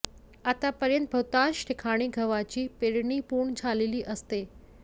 आतापर्यंत बहुतांश ठिकाणी गव्हाची पेरणी पूर्ण झालेली असते